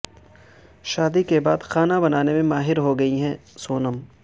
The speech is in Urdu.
شادی کے بعد کھانا بنانے میں ماہر ہو گئی ہیں سونم